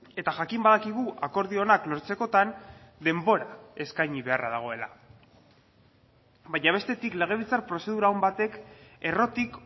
eta jakin badakigu akordio onak lortzekotan denbora eskaini beharra dagoela baina bestetik legebiltzar prozedura on batek errotik